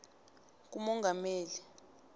kumongameli